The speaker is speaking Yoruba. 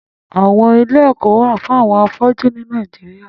Àwọn ilé ẹkọ wà fùn awọn áfọjù ni Nàijiriá